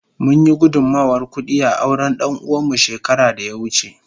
Mun yi gudunmawar kudi a auren danuwa mu shekara da ya wuce.